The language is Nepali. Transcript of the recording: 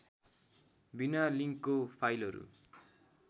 विना लिङ्कको फाइलहरू